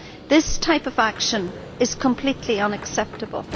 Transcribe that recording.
This type of action is completely unacceptable.